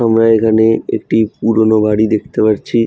আমরা এখানে একটি পুরনো বাড়ি দেখতে পারছি।